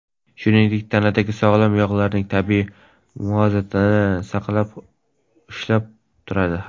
Shuningdek, tanadagi sog‘lom yog‘larning tabiiy muvozanatini ham ushlab turadi.